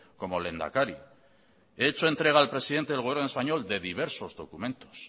como lehendakari he hecho entrega al presidente del gobierno español de diversos documentos